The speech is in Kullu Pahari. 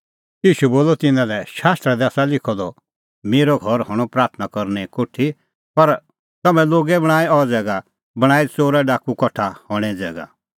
ईशू बोलअ तिन्नां लै शास्त्रा दी आसा लिखअ द मेरअ घर हणअ प्राथणां करने कोठी पर तम्हैं लोगै बणांईं अह ज़ैगा बणांईं च़ोराडाकू कठा हणें ज़ैगा